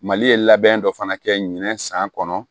Mali ye labɛn dɔ fana kɛ minɛn san kɔnɔ